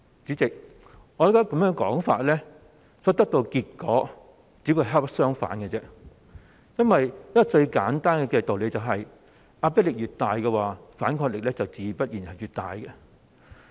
主席，我認為根據這說法所得到的結果，其實只會恰恰相反，因為一個最簡單的道理是，壓迫力越大、反抗力自然會越大。